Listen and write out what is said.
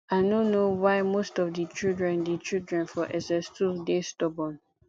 i no know why most of di children di children for ss2 dey stubborn